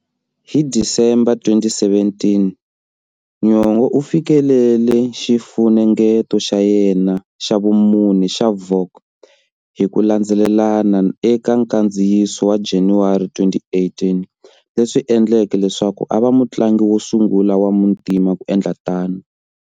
Hi December 2017, Nyong'o u fikelele xifunengeto xa yena xa vumune"xa Vogue" hi ku landzelelana eka nkandziyiso wa January 2018, leswi endleke leswaku a va mutlangi wo sungula wa muntima ku endla tano.